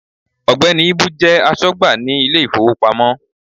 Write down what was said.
Ògbẹ́ni Íbú jẹ́ asógbà ní Ilé ìfowópamọ́